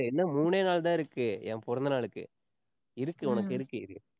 இன்னும் மூணே நாள் தான் இருக்கு. என் பிறந்தநாளுக்கு இருக்கு உனக்கு இருக்கு இரு.